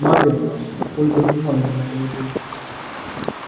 наверное ольга сама виновата в этом